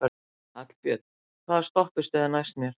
Hallbjörn, hvaða stoppistöð er næst mér?